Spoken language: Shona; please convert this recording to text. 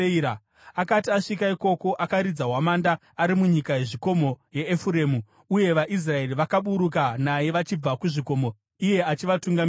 Akati asvika ikoko, akaridza hwamanda ari munyika yezvikomo yaEfuremu, uye vaIsraeri vakaburuka naye vachibva kuzvikomo, iye achivatungamirira.